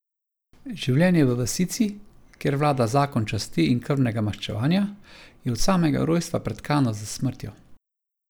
Življenje v vasici, kjer vlada zakon časti in krvnega maščevanja, je od samega rojstva pretkano s smrtjo.